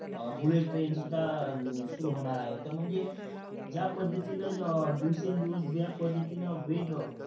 व bullet train शुद्धा सुरु होणार आहे म्हणजे ज्या पद्धतीन दिवसेन दिवस ज्या पद्धतीन वेग